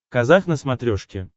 казах на смотрешке